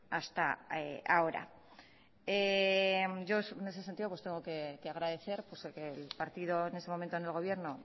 hasta ahora en este sentido tengo que agradecer que el partido en ese momento en el gobierno